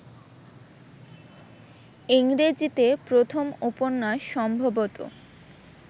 ইংরেজীতে প্রথম উপন্যাস সম্ভবত